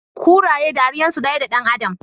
Kuraye ɗariyan su ɗaya da ɗan adam